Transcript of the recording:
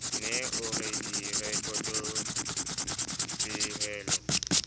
ne o re direkoto pehelo